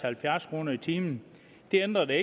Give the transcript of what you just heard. halvfjerds kroner i timen det ændrer det